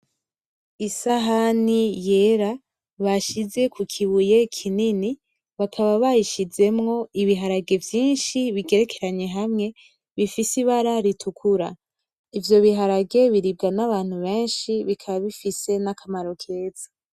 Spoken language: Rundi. Isahani yera bashize kukibuye kinini bakaba bayishizemwo ibiharage vyinshi bigerekeranye hamwe bifise ibara ritukura, ivyo biharage biribwa nabantu benshi bikaba bifise nakamaro kanini.